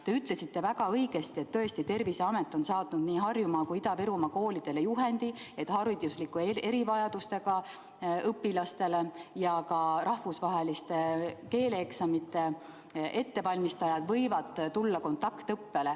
Te ütlesite väga õigesti, et Terviseamet on saatnud nii Harjumaa kui ka Ida-Virumaa koolidele juhendi, et hariduslike erivajadustega õpilased ja ka rahvusvahelisteks keeleeksamiteks valmistujad võivad olla kontaktõppel.